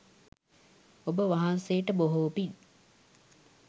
ඔබ වහන්සේට බොහෝ පින්